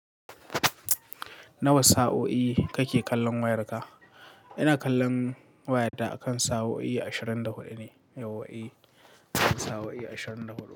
Nawa sa'o'i kake kallon wayarka? Ina kallon wayata akan sa'o'i ashirin da hudu ne. Yau wa'i akan sa'o'i ashirin da hudu.